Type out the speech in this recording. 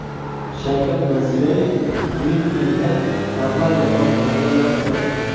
Shavkat Mirziyoyev Myunxenda Bavariya bosh vaziri bilan uchrashdi.